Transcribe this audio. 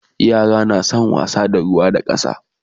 yara na San wasa da ruwa da ƙasa